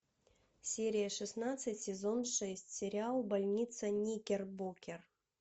серия шестнадцать сезон шесть сериал больница никербокер